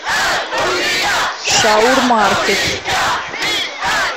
шаурмаркет